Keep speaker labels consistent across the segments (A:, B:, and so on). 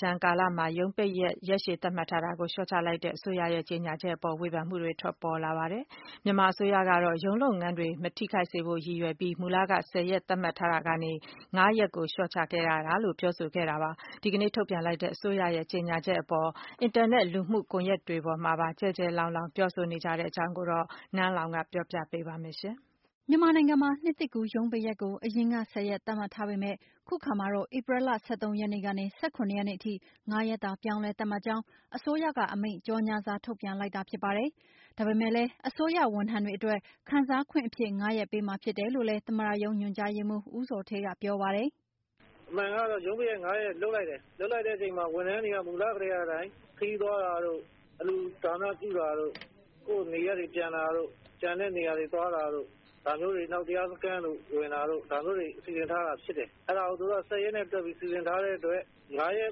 A: ကြန်ကာလမှာ ရုံးပိတ်ရက် ရက်ရှည်သတ်မှတ်ထားတာကို လျှော့ချလိုက်တဲ့ အစိုးရရဲ့ ကြေညာချက်အပေါ် ဝေဖန်မှုတွေ ထွက်ပေါ်လာပါတယ်။ မြန်မာအစိုးရကတော့ ရုံးလုပ်ငန်းတွေ မထိခိုက်စေဖို့ ရည်ရွယ်ပြီး မူလက ၁၀ ရက် သတ်မှတ်ထားတာကနေ ၅ ရက် လျှော့ချခဲ့ရတာလို့ ပြောဆိုခဲ့တာပါ။ ဒီကနေ့ ထုတ်ပြန်လိုက်တဲ့ အစိုးရရဲ့ ကြေညာချက် အပေါ် အင်တာနက် လူမှုကွန်ယက်တွေပေါ်မှာပါ ကျယ်ကျယ်လောင်လောင် ပြောဆိုနေကြ တဲ့ အကြောင်းကိုတော့ နန်းလောဝ် ကပြောပြပေးမှာဖြစ်ပါတယ်။ မြန်မာနိုင်ငံမှာ နှစ်သစ်ကူးရုံးပိတ်ရက်ကို အရင်က ၁၀ ရက် သတ်မှတ်ထားပေမဲ့ အခုအခါမှာတော့ ဧပြီလ ၁၃ ရက်နေ့ကနေ ၁၇ ရက်နေ့အထိ၊ ၅ ရက်သာ ပြောင်းလဲ သတ်မှတ်ကြောင်း အစိုးရက အမိန့်ကြော်ငြာစာ ထုတ်ပြန်လိုက်တာ ဖြစ်ပါတယ်။ ဒါပေမဲ့လည်း အစိုးရ ဝန်ထမ်းတွေ အတွက် ခံစားခွင့်အဖြစ် ၅ ရက်ပေးမှာဖြစ်တယ် လို့လည်း သမ္မတရုံးညွှန်ကြားရေးမှူး ဦးဇော်ဌေး ကပြောပါတယ်
B: ။ " အမှန်ကတော့ ရုံးပိတ်ရက် ရက် လုပ်လိုက်တယ်။ လုပ်လိုက်တဲ့အချိန်မှာ ဝန်ထမ်းတွေက မူလကတည်းက အတိုင်း ခရီးသွားတာတို့၊ အလှူဒါနပြုတာတို့ ကိုယ့်နေရပ်တွေ ပြန်တာတို့ ကျန်တဲ့နေရာတွေ သွားတာတို့ ဒါမျိုးတွေ နောက် တရားစခန်းတို့ ဒါမျိုးတွေ စီစဉ်ထားတာဖြစ်တယ်။ ဒါကို သူတို့က ၁၀ရက်နဲ့ တွက်ပြီး စီစဉ်ထားတဲ့အတွက် ငါးရက်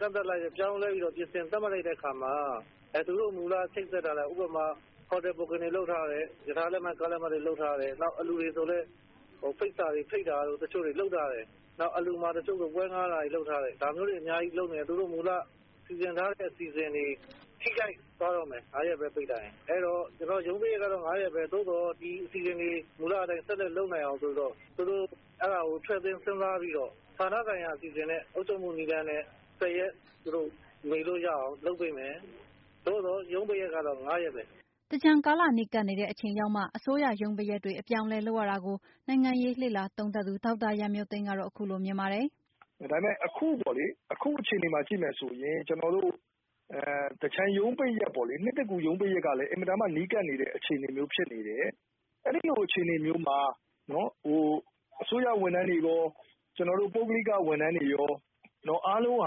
B: ကန့်သတ်ပြီး ပြောင်းလဲ သတ်မှတ်လိုက်တဲ့အခါမှာ အဲ့ သူတို့ မူလ ချိတ်ဆက်ထားတဲ့ ဥပမာ ဟိုတယ် ဘွတ်ကင်တွေ လုပ်ထားတယ်။ ရထားလက်မှတ်၊ ကားလက်မှတ်တွေ လုပ်ထားတယ်။ နောက် အလှူတွေဆိုလည်း ဖိတ်စာတွေ ဖိတ်တာတို့ တချို့တွေ လုပ်ထားတယ်။ နောက် အလှုမှာ တချို့ဆို ပွဲဌားတာတွေ လုပ်ထားတယ်။ ဒါမျိုးတွေ အများကြီး လုပ်နေတယ် သူတို့ မူလ စီစဉ်ထားတဲ့ အစီအစဉ်တွေ ထိခိုက်သွားတော့မယ် ငါးရက်ပဲ ပိတ်လိုက်ရင်။ အဲ့တော့ ကျနော်တို့က ရုံးပိတ်ရက်ကတော့ ငါးရက်ပဲ ဒါပေမဲ့ မူလအတိုင်းအစီအစဉ်တွေ ဆက်လုပ်နိုင်အောင် ဆိုပြီး သူတို့ကို ထည့်သွင်း စဉ်းစားပြီးတော့ ဌာနဆိုင်ရာအစီအစဉ် အုပ်ချုပ်မှု နည်းလမ်းနဲ့ ပိတ်ရက် လုပ်လို့ရအောင် လုပ်ပေးမယ်။ သို့သော် ရုံးပိတ်ရက်ကတော့ ငါးရက်ပဲ။
A: " သင်္ကြန်ကာလ နီးကပ်နေတဲ့အချိန်ရောက်မှာ အစိုးရရုံးပိတ်ရက်တွေ အပြောင်းအလဲ လုပ်ရတာကို နိုင်ငံရေးလေ့လာသုံးသပ်သူ ဒေါက်တာရန်မျိုးသိမ်းကတော့ ခုလိုမြင်ပါတယ်။
C: "ဒါပေမဲ့ အခုပေါ့လေ။ အခုအခြေအနေမှာ ကြည့်မယ်ဆိုရင် ကျနော်တို့ သင်္ကြန် ရုံးပိတ်ရက်ပေါ့လေ။ နှစ်သစ်ကူး ရုံးပိတ်ရက်ကလည်း အင်မတန်မှ နီးကပ်နေတဲ့ အခြေအနေမျိုး ဖြစ်နေတယ်။ အဲ့ဒီ့လို အခြေအနေမျိုးမှာနော် အစိုးရဝန်ထမ်းတွေရော ပုဂ္ဂလိက ဝန်ထမ်းတွေရော အားလုံးက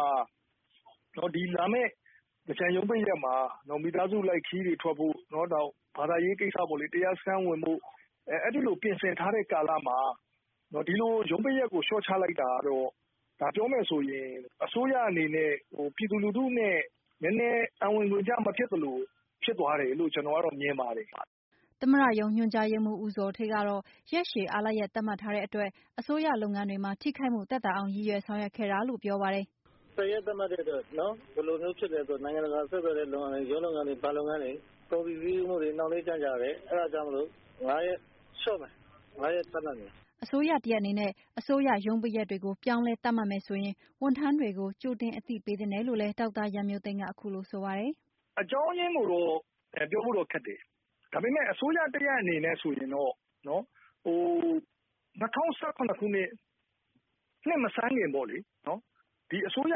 C: လာမယ့် သင်္ကြန်ရုံးပိတ်ရက်မှာ မိသားစုလိုက် ခရီးတွေ ထွက်ဖို့၊ နောက် ဘာသာရေးကိစ္စပေါ့လေ တရားစခန်းဝင်ဖို့ အဲ့ဒီလို ပြင်ဆင် ထားတဲ့ ကာလမှာ ဒီလိုရုံးပိတ်ရက်ကို လျှော့ချလိုက်တာကတော့ ဒါပြောမယ်ဆိုရင် အစိုးရအနေနဲ့ ပြည်သူလူထုနဲ့ နည်းနည်း အံဝင်ခွင်ကျ မဖြစ်သလို ဖြစ်သွားတယ်လို့ ကျနော်ကတော့ မြင်ပါတယ်။
A: " သမ္မတရုံးညွှန်ကြားရေးမှူး ဦးဇော်ဌေး ကတော့ ရက်ရှည်အားလပ်ရက် သတ်မှတ်ထားတဲ့ အတွက် အစိုးရလုပ်ငန်းတွေမှာ ထိခိုက်မှု သက်သာအောင် ရည်ရွယ် ဆောင်ရွက်ခဲ့ တာလို့ ပြောပါတယ်။ " ၁၀ရက် သတ်မှတ်တဲ
B: ့အတွက် ဘယ်လိုဖြစ်လဲဆိုတော့ နိုင်ငံတကာဆက်သွယ်တာတွေ ရုံးလုပ်ငန်းတွေ ဘဏ်လုပ်ငန်းတွေ ကုန်စည်စီးဆင်းမှုတွေ နှောင့်နှေးကြန့်ကြာတယ်။ အဲ့တာကြောင့်မို့ ၅ရက် လျှော့မယ်။ ၅ရက် သတ်မှတ်မယ်။ "
A: အစိုးရတရပ်အနေနဲ့ အစိုးရရုံးပိတ်ရက်တွေကို ပြောင်းလဲသတ်မှတ်မယ်ဆိုရင် ဝန်ထမ်းတွေကို ကြိုတင် အသိပေးသင့်တယ်လို့လည်း ဒေါက်တာရန်မျိုးသိမ်းက ခုလိုပြောပါတယ်။
C: " အကြောင်းရင်းကိုတော့ ပြောဖို့တော့ ခက်တယ်။ ဒါပေမဲ့ အစိုးရတရပ်အနေနဲ့ဆိုရင်တော့ ၂၀၁၇ ခုနှစ် နှစ်မဆန်းခင်ပေါ့လေ။ ဒီအစိုးရ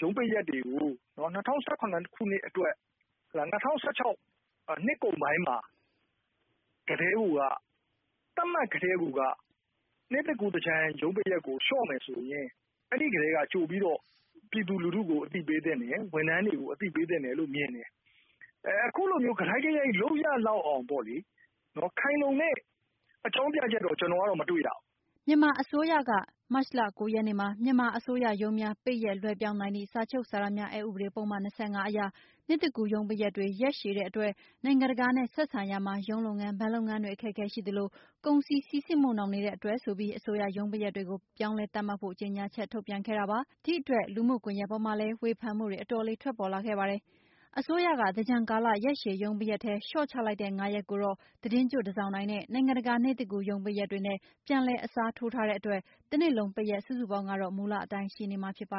C: ရုံးပိတ်ရက်တွေကို ၂၀၁၇ခုနှစ်အတွက် -၂၀၁၆ နှစ်ကုန်ပိုင်းမှာကတည်းကိုက သတ်မှတ်ကတည်းကိုက နှစ်သစ်ကူး သင်္ကြန် ရုံးပိတ်ရက်ကို လျှော့မယ်ဆိုရင် အဲ့ဒီ့ကတည်းက ကြိုပြီးတော့ ပြည်သူလူထုကို အသိပေးသင့်တယ်။ ဝန်ထမ်းတွေကို အသိပေးသင့်တယ်လို့မြင်တယ်။ အခုလိုမျိုး ကတိုက်ကရိုက် လုပ်ရလောက်အောင် ပေါ့လေ ခိုင်လုံတဲ့ အကြောင်းပြချက်တော့ ကျနော်ကတော့ မတွေ့ရဘူး။
A: " မြန်မာအစိုးရက မတ်လ၉ ရက်နေ့မှာ မြန်မာအစိုးရရုံးများပိတ်ရက်လွှဲပြောင်းနိုင်သည့် စာချုပ်စာတမ်းများအက်ဥပဒေပုဒ်မ ၂၅ အရ နှစ်သစ်ကူးရုံးပိတ်ရက်တွေ ရက်ရှည်တဲ့အတွက် နိုင်ငံတကာနဲ့ဆက်ဆံရာမှာ ရုံးလုပ်ငန်း၊ ဘဏ်လုပ်ငန်းတွေ အခက်အခဲရှိသလို ကုန်စည်စီးဆင်းမှု နှောင့်နှေးတဲ့အတွက်ဆိုပြီး အစိုးရ ရုံးပိတ်ရက်တွေကို ပြောင်းလဲသတ်မှတ်ဖို့ ကြေငြာချက်ထုတ်ပြန်ခဲ့ပြီးတဲ့နောက် လူမှုကွန်ယက်ပေါ်ကနေ ဝေဖန်မှုတွေ အတော်လေးထွက်ပေါ်လာခဲ့တာပါ။ အစိုးရက သင်္ကြန်ကာလာ ရက်ရှည်ရုံးပိတ်ရက်ထဲက လျှော့ချလိုက်တဲ့ ၅ ရက်ကိုတော့ သီတင်းကျွတ်၊ တန်ဆောင်တိုင်နဲ့ နိုင်ငံတကာ နှစ်သစ်ကူး ရုံးပိတ်ရက်တွေနဲ့ ပြန်လည် အစားထိုးထားတဲ့အတွက် တနှစ်လုံးပိတ်ရက်စုစုပေါင်းကတော့ မူလအတိုင်း ရှိနေမှာဖြစ်ပါ